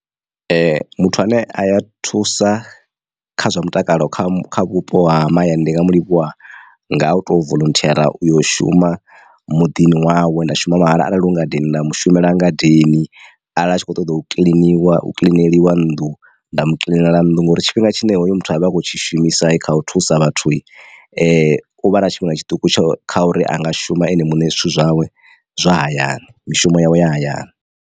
Muthu ane a ya thusa kha zwa mutakalo kha vhupo ha mahayani ndi nga mu livhuwa nga u to volunteer uyo shuma muḓini wawe nda shuma mahala. Arali hu ngadeni nda mushumela ngadeni arali a tshi kho ṱoḓa u kiḽiniwa kiḽineliwa nnḓu nda mu kiḽinela nnḓu ngori tshifhinga tshine hoyo muthu avhe akho tshishumisa kha u thusa vhathu u vha na tshifhinga tshiṱuku tsho kha uri anga shuma ene muṋe zwithu zwawe zwa hayani mishumo yawe ya hayani.